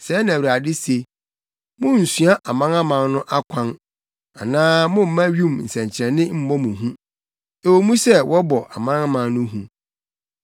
Sɛɛ na Awurade se: “Munnsua amanaman no akwan anaa momma wim nsɛnkyerɛnne mmɔ mo hu, ɛwɔ mu sɛ wɔbɔ amanaman no hu.